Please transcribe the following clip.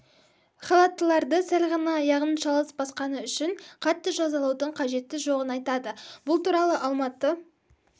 халаттыларды сәл ғана аяғын шалыс басқаны үшін қатты жазалаудың қажеті жоғын айтады бұл туралы алматы